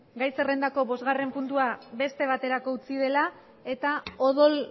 gai zerrendako bosgarren puntua beste baterako utzi dela eta odol